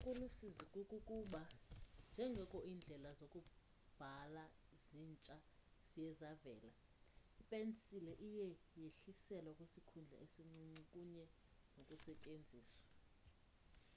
okulusizi kukuba njengoko iindlela zokubhala zintsha ziye zavela ipensile iye yehliselwa kwisikhundla esincinci kunye nokusetyenziswa